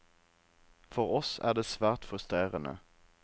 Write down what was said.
For oss er det svært frustrerende.